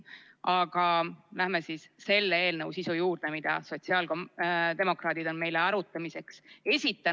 Aga läheme siis eelnõu, mille sotsiaaldemokraadid on meile arutamiseks esitanud, sisu juurde.